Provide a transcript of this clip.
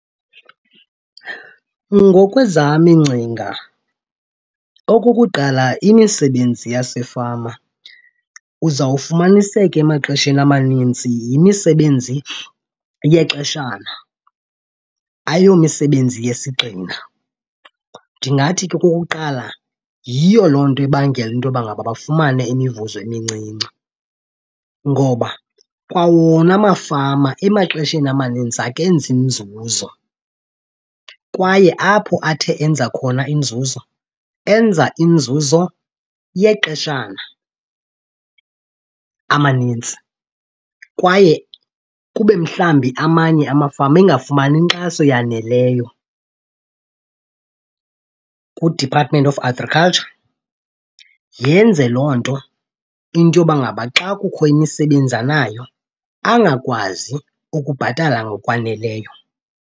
Ngokwezam iingcinga, okokuqala, imisebenzi yasefama uzawufumaniseka emaxesheni amaninzi yimisebenzi yexeshana, ayomisebenzi yesigxina. Ndingathi ke okokuqala yiyo loo nto ibangela into yoba ngaba bafumane imivuzo emincinci ngoba kwa wona amafama emaxesheni amaninzi akenzi nzuzo. Kwaye apho athe enza khona inzuzo enza inzuzo yexeshana amanintsi kwaye kube mhlawumbi amanye amafama engafumani nkxaso yaneleyo kuDepartment of Agriculture. Yenze loo nto into yoba ngaba xa kukho imisebenzi anayo angakwazi ukubhatala ngokwaneleyo.